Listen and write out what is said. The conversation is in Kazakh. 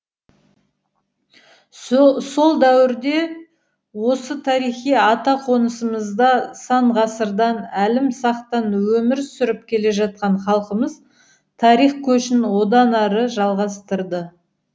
сол дәуірде де осы тарихи ата қонысымызда сан ғасырдан әлімсақтан өмір сүріп келе жатқан халқымыз тарих көшін одан ары жалғастырды